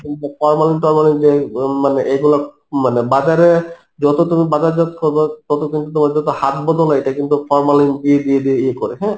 formalin tormalin যে উম মানে এইগুলা মানে বাজারে যত তুমি বাজারজাত করবা তত কিন্তু তোমার তত হাত বদল হয়, এইটা কিন্তু formalin দিয়ে দিয়ে দিয়ে ইয়ে করে, হ্যাঁ